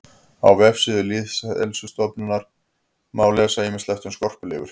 Á vefsíðu Lýðheilsustöðvar má lesa ýmislegt um skorpulifur.